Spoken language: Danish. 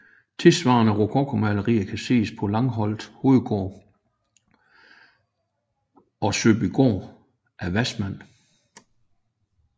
Tilsvarende rokokomalerier kan ses på Langholt Hovedgård og Sæbygård af Wassmann